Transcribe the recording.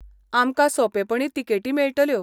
आमकां सोंपेपणी तिकेटी मेळटल्यो.